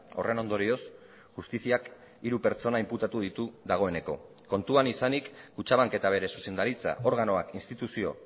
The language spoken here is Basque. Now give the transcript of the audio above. horren ondorioz justiziak hiru pertsona inputatu ditu dagoeneko kontuan izanik kutxabank eta bere zuzendaritza organoak instituzio